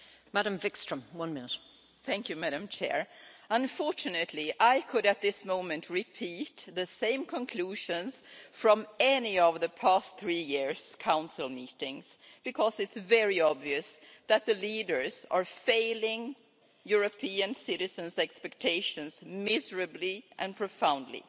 Madam President, unfortunately I could at this moment repeat the same conclusions from any of the past three years' Council meetings, because it's very obvious that the leaders are failing European citizens' expectations miserably and profoundly.